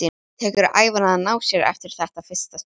Tekur ævina að ná sér eftir þetta fyrsta stuð.